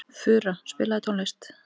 Fura, spilaðu tónlist.